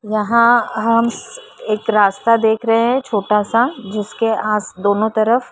यहाँ हम एक रास्ता देख रहे हैं छोटा सा जिसके आस दोनों तरफ --